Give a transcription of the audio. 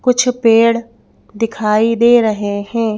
कुछ पेड़ दिखाई दे रहे हैं।